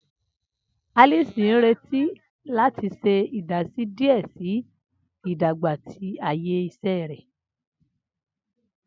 Alice n nireti lati ṣe idasi diẹ sii si idagba ti aaye iṣẹ rẹ.